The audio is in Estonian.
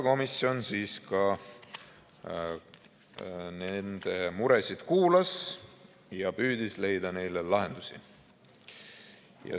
Komisjon kuulas nende muresid ja püüdis leida neile lahendusi.